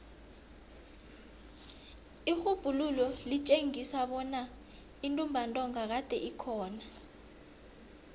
irhubhululo litjengisa kobana intumbantonga kade ikhona